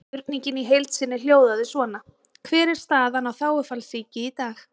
Spurningin í heild sinni hljóðaði svona: Hver er staðan á þágufallssýki í dag?